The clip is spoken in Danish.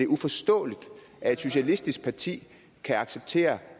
uforståeligt at et socialistisk parti kan acceptere